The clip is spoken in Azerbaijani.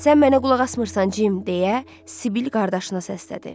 Sən mənə qulaq asmırsan Cim, deyə Sibil qardaşına səsləndi.